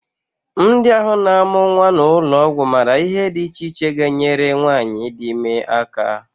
Ndị ahụ na-amụ nnwa n'ụlọọgwụ maara ihe dị iche iche ga-enyere nwaanyị di ime aka